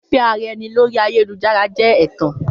Fífẹ́-ara-ẹni lórii ayélujára jẹ́ ẹ̀tàn